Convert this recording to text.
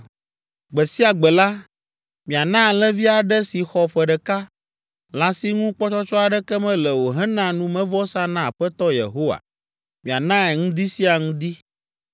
“ ‘Gbe sia gbe la, miana alẽvi aɖe si xɔ ƒe ɖeka, lã si ŋu kpɔtsɔtsɔ aɖeke mele o hena numevɔsa na Aƒetɔ Yehowa; mianae ŋdi sia ŋdi.